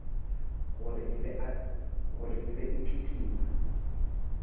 gore e be e kitima